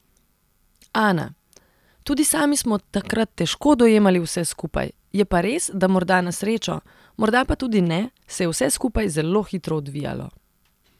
Ana: 'Tudi sami smo takrat težko dojemali vse skupaj, je pa res, da morda na srečo, morda pa tudi ne, se je vse skupaj zelo hitro odvijalo.